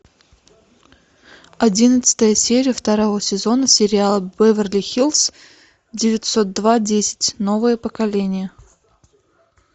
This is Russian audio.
одиннадцатая серия второго сезона сериала беверли хиллз девятьсот два десять новое поколение